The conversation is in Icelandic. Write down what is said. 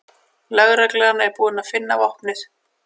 Lögreglan er búin að finna vopnið